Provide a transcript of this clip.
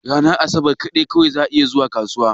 Ranar asabar kaɗai zan iya zuwa kasuwa.